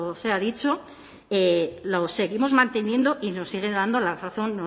sea dicho lo seguimos manteniendo y nos sigue dando la razón